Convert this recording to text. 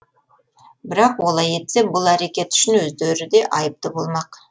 бірақ олай етсе бұл әрекеті үшін өздері де айыпты болмақ